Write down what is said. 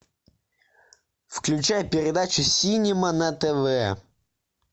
включай передачу синема на тв